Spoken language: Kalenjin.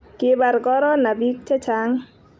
kibar korona biik che chang'